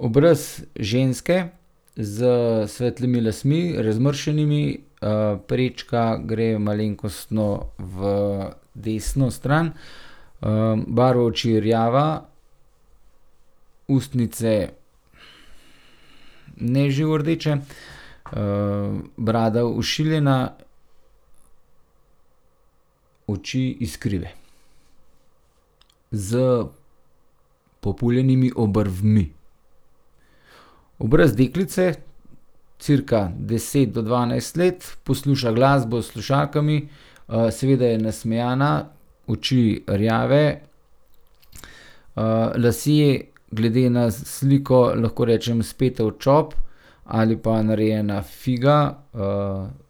Obraz ženske s svetlimi lasmi, razmršenimi, prečka gre malenkostno v desno stran. barva oči je rjava, ustnice ne živo rdeče, brada ošiljena. Oči iskrive s populjenimi obrvmi. Obraz deklice cirka deset do dvanajst let, posluša glasbo s slušalkami. seveda je nasmejana, oči rjave, lasje, glede na sliko lahko rečem spete v čop ali pa narejena figa,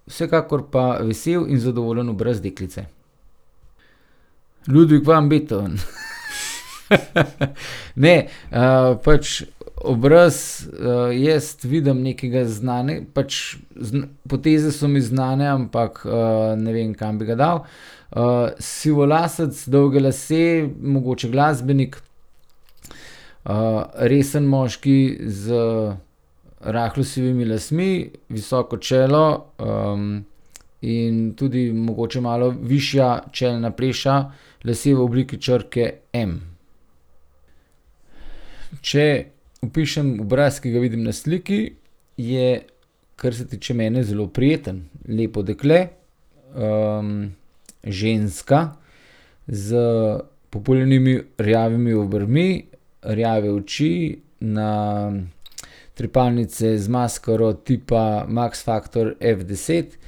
vsekakor pa vesel in zadovoljen obraz deklice. Ludwig van Beethoven. Ne, pač obraz, jaz vidim nekega pač poteze so mi znane, ampak, ne vem, kam bi ga dal. sivolasec, dolge lase, mogoče glasbenik. resen moški z rahlo sivimi lasmi, visoko čelo, in tudi mogoče malo višja čelna pleša. Lasje v obliki črke M. Če opišem obraz, ki ga vidim na sliki, je kar se tiče mene, zelo prijeten. Lepo dekle, ženska s populjenimi rjavimi obrvmi, rjave oči, na trepalnice z maskaro tipa Max Factor F deset,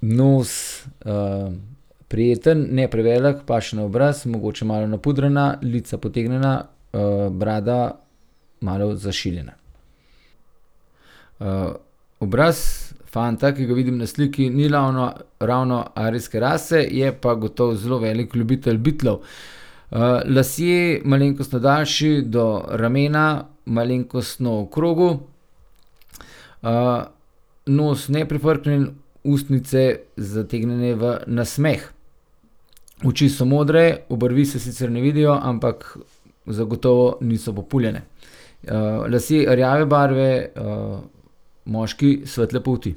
nos, prijeten, ne prevelik, paše na obraz. Mogoče malo napudrana, lica potegnjena, brada malo zašiljena. obraz fanta, ki ga vidim na sliki, ni ravno, ravno arijske rase, je pa gotovo zelo velik ljubitelj Beatlov. lasje malenkostno daljši, do ramena, malenkostno okrogel. nos neprifrknjen, ustnice zategnjene v nasmeh. Oči so modre, obrvi se sicer ne vidijo, ampak zagotovo niso populjene. lasje rjave barve, moški svetle polti.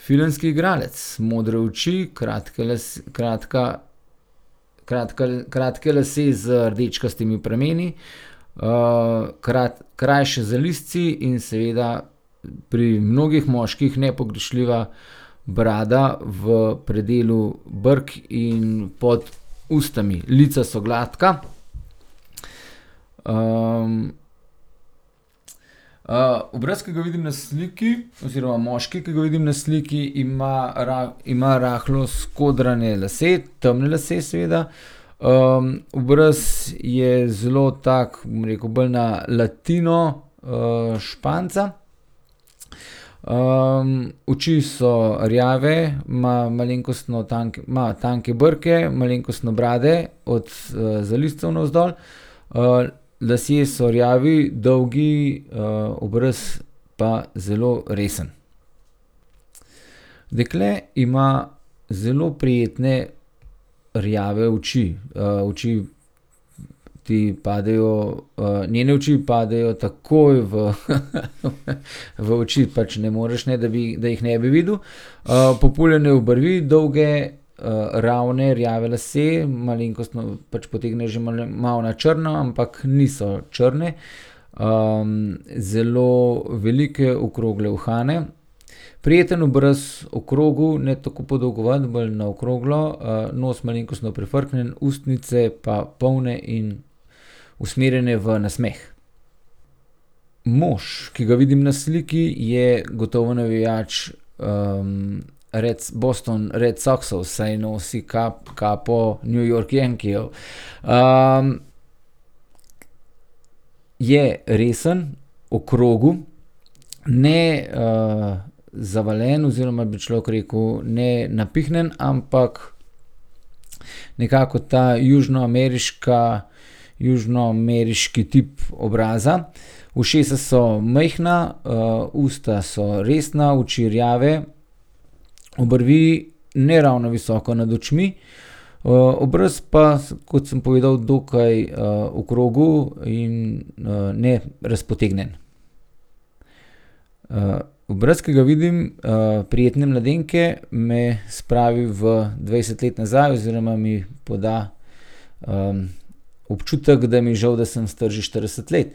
Filmski igralec. Modre oči, kratke kratka kratka, kratki lasje z rdečkastimi prameni, krajši zalizci in seveda pri mnogih moških nepogrešljiva brada v predelu brkov in pod usti. Lica so gladka, obraz, ki ga vidim na sliki, oziroma moški, ki ga vidim na sliki, ima ima rahlo skodrane lase, temne lase, seveda. obraz je zelo tako, bom rekel, bolj na latino, Španca. oči so rjave, ima malenkostno tanke, ima tanke brke, malenkostno brade od, zalizcev navzdol. lasje so rjavi, dolgi, obraz pa zelo resen. Dekle ima zelo prijetne rjave oči. oči ti padejo, njene oči padejo takoj v v oči. Pač ne moreš, ne da bi, da jih ne bi videl. populjene obrvi, dolge, ravne rjave lase, malenkostno, pač potegnejo že malo na črno, ampak niso črne. zelo velike okrogle uhane, prijeten obraz, okrogel, ne tako podolgovat, bolj na okroglo, nos malenkostno prifrknjen, ustnice pa polne in usmerjene v nasmeh. Mož, ki ga vidim na sliki, je gotovo navijač, Boston Red Soxov, saj nosi kapo New York Yankeejev. ... Je resen, okrogel, ne, zavaljen oziroma bi človek rekel, ne napihnjen, ampak nekako ta južnoameriška, južnoameriški tip obraza. Ušesa so majhna, usta so resna, oči rjave. Obrvi ne ravno visoko nad očmi, obraz pa, kot sem povedal, dokaj, okrogel in, nerazpotegnjen. obraz, ki ga vidim, prijetne mladenke, me spravi v dvajset let nazaj oziroma mi poda, občutek, da mi je žal, da sem star že štirideset let.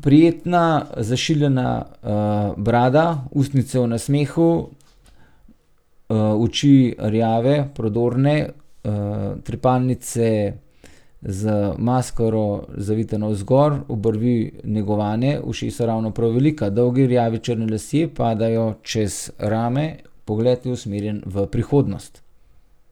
prijetna zašiljena, brada, ustnice v nasmehu, oči rjave, prodorne, trepalnice z maskaro zavite navzgor, obrvi negovane, ušesa ravno prav velika, dolgi rjavi črni lasje padajo čez rame, pogled je usmerjen v prihodnost.